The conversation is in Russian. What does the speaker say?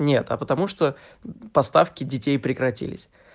нет а потому что поставки детей прекратились